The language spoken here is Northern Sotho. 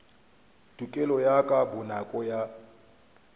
tokelo ye ka bonako ya